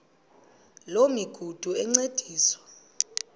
loo migudu encediswa